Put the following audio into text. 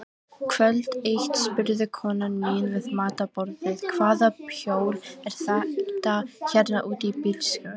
Kvöld eitt spurði konan mín við matarborðið: Hvaða hjól er þetta hérna út í bílskúr?